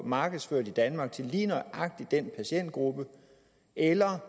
markedsført i danmark til lige nøjagtig den patientgruppe eller